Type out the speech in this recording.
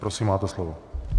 Prosím, máte slovo.